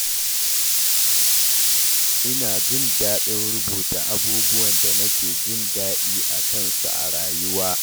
Ina jin daɗin rubuta abubuwan da nake jin daɗi akansu a rayuwa.